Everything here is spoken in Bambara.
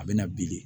A bɛ na bilen